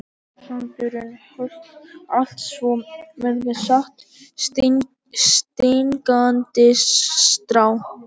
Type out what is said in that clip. Grár sandurinn huldi allt svo hvergi sást stingandi strá.